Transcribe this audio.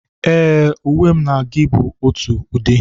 Ee, uwe mụ na gị bu ótụ ụdị